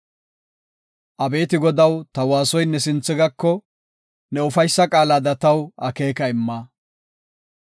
Abeeti Godaw, ta waasoy ne sinthe gako; ne ufaysa qaalada taw akeeka imma.